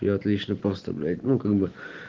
я отлично просто блять ну как бы